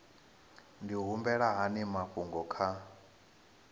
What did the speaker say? ndi humbela hani mafhungo kha